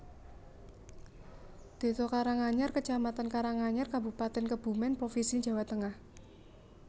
Désa Karanganyar kecamatan Karanganyar Kabupatèn Kebumèn provinsi Jawa Tengah